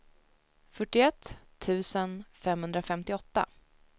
fyrtioett tusen femhundrafemtioåtta